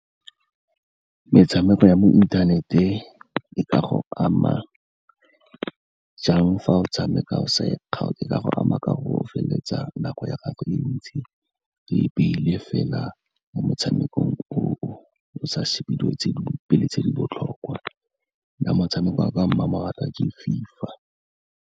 Metshameko ya mo inthanete e ka go ama jang fa o tshameka o sa e kgaotse, e ka go ama ka gore o feleletsa nako ya gago e ntsi, o e baile fela mo motshamekong o o, o sa shebe dilo tse dingwe pele tse di botlhokwa. Nna motshameko wa ka wa mmamoratwa ke FIFA.